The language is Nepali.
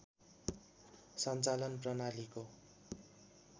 सञ्चालन प्रणालीको